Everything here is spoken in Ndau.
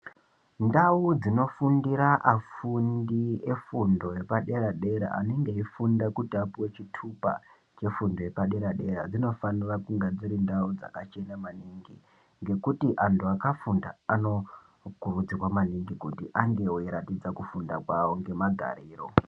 Ndau dzinofundira afundi efundo yepadera dera anenge eifunda kuti apuwe chitupa chefundo yepadera dera dzinofanira kunge dzakachena maningi , ,ngekuti antu akafunda maningi anofanira kunge eiratidza kufunda kwawo ngemagariro.